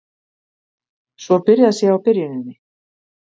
Svo byrjað sé á byrjuninni